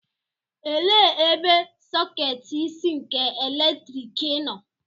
Elee ebe sọketi isi nke eletriki nọ?